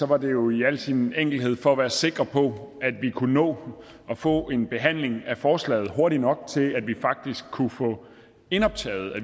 var det jo i al sin enkelhed for at være sikre på at vi kunne nå at få en behandling af forslaget hurtigt nok til at vi faktisk kunne få indoptaget